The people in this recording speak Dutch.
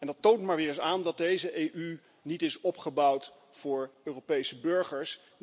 Dat toont maar weer eens aan dat deze EU niet is opgebouwd voor Europese burgers.